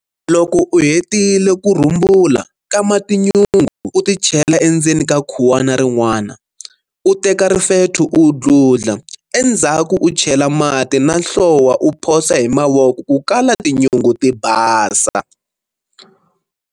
Loko u hetile ku rhumbula, kama tinyungu u ti chela endzeni ka khuwana rin'wana, u teka rifetho u dludla, endzhaku u chela mati na nhlowa u phosa hi mavoko ku kala tinyungu ti basa.